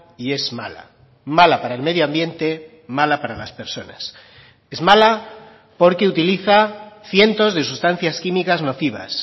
y es mala mala para el medioambiente mala para las personas es mala porque utiliza cientos de sustancias químicas nocivas